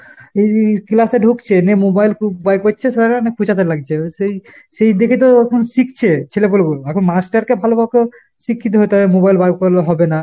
classএ ঢুকছে, নে mobile খুব বার করছে sir এরা নে খুঁচাতে লাগছে। সেই সেই দেখেতো এখন শিখছে ছেলেপুলেগুলো। আখন master কে ভালো বকো শিক্ষিত হতে হবে, mobile বার করলে হবে না।